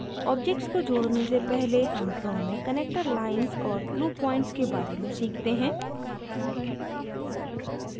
objects को जोड़ने से पहले हम draw में connector lines और glue points के बारे में सीखते हैं